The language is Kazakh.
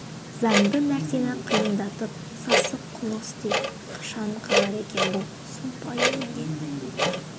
заңды нәрсені қиындатып сасық қулық істейді қашан қалар екен бұл сұмпайы індет